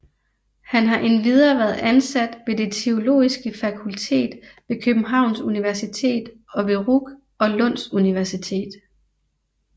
Han har endvidere været ansat ved det Det Teologiske Fakultet ved Københavns Universitet og ved RUC og Lunds Universitet